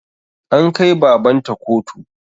An kai baban ta kotu